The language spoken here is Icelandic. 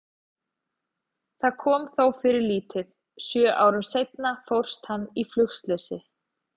Það kom þó fyrir lítið, sjö árum seinna fórst hann í flugslysi.